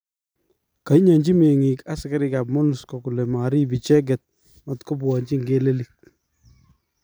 ka inyanji mengik askarik ap MONUSCO kole marip icheget matkopwanji Ngelelik